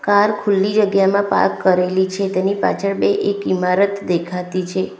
Car ખુલ્લી જગ્યામાં park કરેલી છે તેની પાછળ બે એક ઇમારત દેખાતી છે.